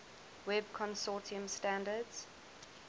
web consortium standards